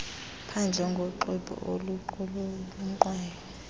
phandle ngoxwebhu oluqulunqwayo